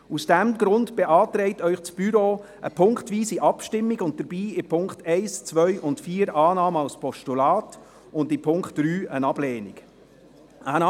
Aus diesem Grund beantragt Ihnen das Büro eine punktweise Abstimmung, mit der Annahme als Postulat der Punkte 1, 2 und 4 und einer Ablehnung des Punkts 3.